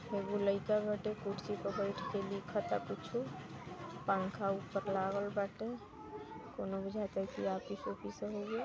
एगो लइका बाटे कुर्सी प बैठके लिखताआ कुछु पंखा ऊपर लागल बाटेकउनो बुझाते की ऑफिस उफ़िस हउए।